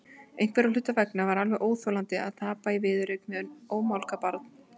Einhverra hluta vegna var alveg óþolandi að tapa í viðureign við ómálga barn.